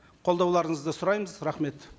қолдауларыңызды сұраймыз рахмет